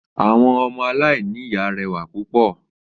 Àwọn ọmọ aláìní ìyá rẹwà púpò o